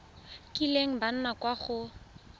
kileng ba nna kwa go